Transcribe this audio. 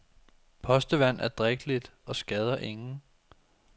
Postevand er drikkeligt og skader ingen.